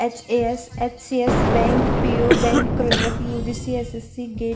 एच_ए_एस_एच_सी_एस bank P O bank clerk लिए जिससे ये सी_सी गे--